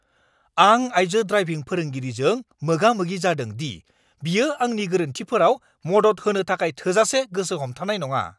आं आइजो ड्राइभिं फोरोंगिरिजों मोगा-मोगि जादों दि बियो आंनि गोरोन्थिफोराव मदद होनो थाखाय थोजासे गोसो हमथानाय नङा!